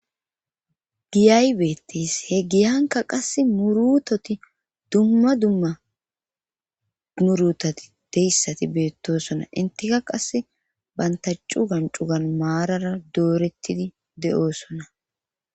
Giyaybeetis he giyanka qass murutoti dumma dumma murutoti deyssati beettosona intika qasse bantacu gancugan maarara doorettidi de'osona